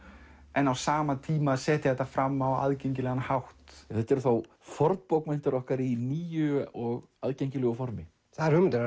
en á sama tíma að setja þetta fram að aðgengilegan hátt þetta eru þá fornbókmenntir okkar í nýju og aðgengilegu formi það er hugmyndin